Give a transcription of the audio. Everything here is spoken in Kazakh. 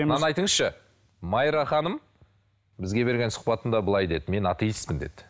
мынаны айтыңызшы майра ханым бізге берген сұхбатында былай деді мен аттеистпін деді